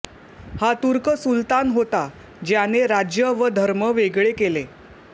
हा तुर्क सुलतान होता ज्याने राज्य व धर्म वेगळे केले